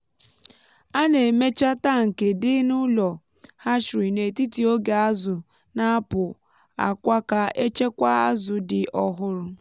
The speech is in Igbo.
a na-emecha tankị dị n’ụlọ hatchery n’etiti oge azụ na-apụ akwa ka echekwa azụ dị ọhụrụ.